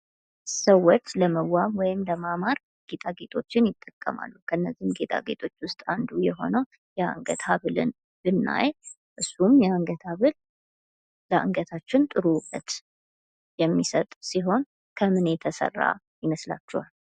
ሰዎች ለመዋብ ወይም ለማማር ጌጣጌጦችን ይጠቀማሉ። ከነዚህም ጌጣጌጦች መካከል ውስጥ አንዱ የሆነው የአንገት ሃብልን ብናይ እሱም የአንገት ሃብል ለአንገታችን ጥሩ ዉበት የሚሰጥ ሲሆን ከምን የተሰራ ይመስላችኋል?